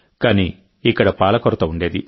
కానీ ఇక్కడ పాల కొరత ఉండేది